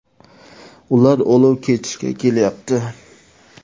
Ular olov kechishga ketyapti.